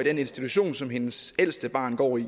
i den institution som hendes ældste barn går i